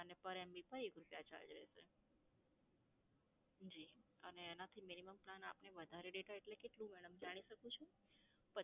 અને per MB પર એક રૂપિયા charge રહેશે. જી અને એનાં થી minimum plan આપને વધારે data એટલે કેટલું madam જાણી શકું છું?